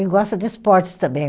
E gosta de esportes também.